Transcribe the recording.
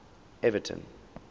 everton